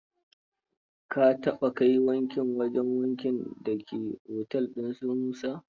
Ka taɓa kai wanki wajen wankin da ke otel ɗin su Musa.